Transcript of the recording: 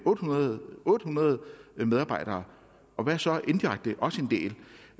otte hundrede otte hundrede medarbejdere og hvad så indirekte